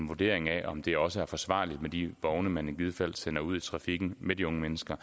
vurdering af om det også er forsvarligt med de vogne man i givet fald sender ud i trafikken med de unge mennesker